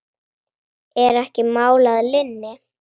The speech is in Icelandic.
Er ekki mál að linni?